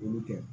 Olu kɛ